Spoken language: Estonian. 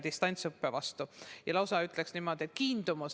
Ma lausa ütleksin, et tekkis selline kiindumus.